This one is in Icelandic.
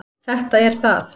Þetta er það.